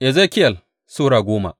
Ezekiyel Sura goma